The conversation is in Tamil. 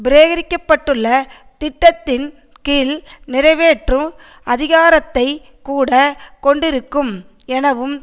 பிரேரிக்க பட்டுள்ள திட்டத்தின் கீழ் நிறைவேற்று அதிகாரத்தை கூட கொண்டிருக்கும் எனவும்